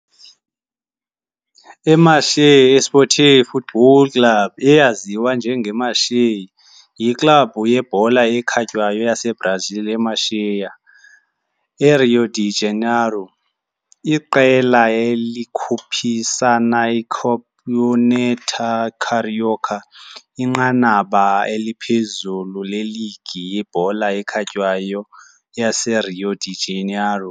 IMacaé Esporte Futebol Clube, eyaziwa njengeMacaé, yiklabhu yebhola ekhatywayo yaseBrazil eMacaé, eRio de Janeiro. Iqela likhuphisana eCampeonato Carioca, inqanaba eliphezulu leligi yebhola ekhatywayo yaseRio de Janeiro.